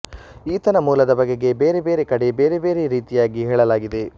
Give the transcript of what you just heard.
ಈತನ ಮೂಲದ ಬಗೆಗೆ ಬೇರೆಬೇರೆ ಕಡೆ ಬೇರೆಬೇರೆ ರೀತಿಯಾಗಿ ಹೇಳಲಾಗಿದೆ